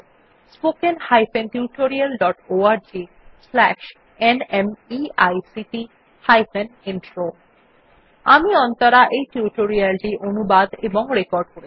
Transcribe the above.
spoken hyphen tutorial dot org slash ন্মেইক্ট hyphen intro আমি অন্তরা এই টিউটোরিয়াল টি অনুবাদ এবং রেকর্ড করেছি